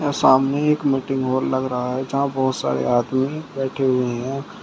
यहां सामने एक मीटिंग हॉल लग रहा है यहां बहुत सारे आदमी बैठे हुए हैं।